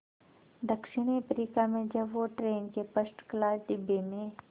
दक्षिण अफ्रीका में जब वो ट्रेन के फर्स्ट क्लास डिब्बे में